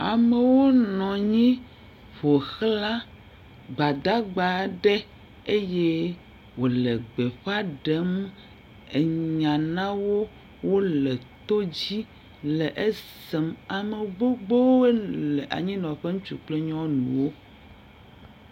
Amewo nɔ anyi ƒoxla gbadagba aɖe eye wole gbeƒã ɖem anya nawo, wole to dzi le esem. Ame gbogbowo nɔ anyi nɔ ƒe, ŋutsu kple nyɔnuwo.